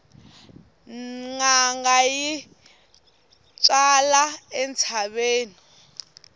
nanga yi twala entshaveni